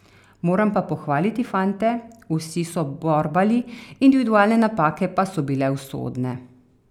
Moram pa pohvaliti fante, vsi so borbali, individualne napake pa so bile usode.